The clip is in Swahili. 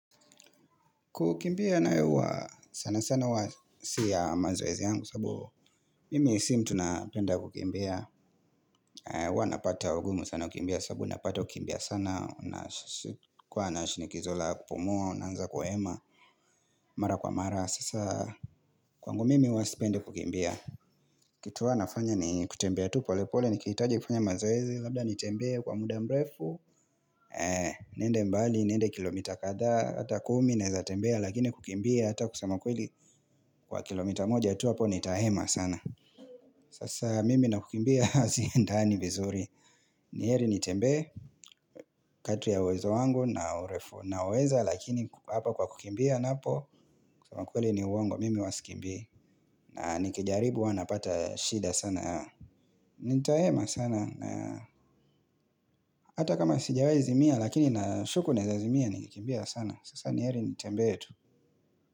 Kukimbia nayo huwa sana sana huwa si ya mazoezi yangu sababu mimi si mtu napenda kukimbia huwa napata ugumu sana kukimbia sababu napata kukimbia sana. Kuwa na shinikizo la kupumua unaanza kuhema mara kwa mara sasa kwangu mimi huwa sipendi kukimbia. Kitu huwa nafanya ni kutembea tu polepole nikihitaji kufanya mazoezi. Labda nitembee kwa muda mrefu niende mbali niende kilomita kadhaa hata kumi naweza tembea lakini kukimbia hata kusema kweli kwa kilomita moja tu hapo nitahema sana sasa mimi na kukimbia haziendani vizuri. Ni heri nitembee kadri ya uwezo wangu na urefu. Naweza lakini hapa kwa kukimbia napo. Kusema kweli ni uongo mimi huwa sikimbii. Na nikijaribu huwa napata shida sana. Nitahema sana na hata kama sijawahi zimia lakini na siku naweza zimia nikimbia sana. Sasa ni heri nitembee tu.